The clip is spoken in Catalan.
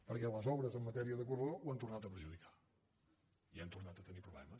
perquè les obres en matèria de corredor ho han tornat a perjudicar i hem tornat a tenir problemes